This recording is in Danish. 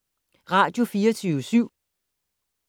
Radio24syv